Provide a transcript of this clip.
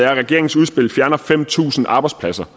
at regeringens udspil fjerner fem tusind arbejdspladser